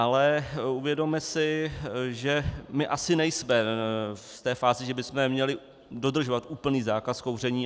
Ale uvědomme si, že my asi nejsme v té fázi, že bychom měli dodržovat úplný zákaz kouření.